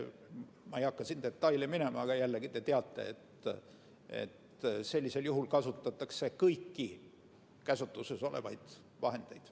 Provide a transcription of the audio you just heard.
Ma ei hakka siin detailidesse minema, aga jällegi, te teate, et sellisel juhul kasutatakse kõiki meie käsutuses olevaid vahendeid.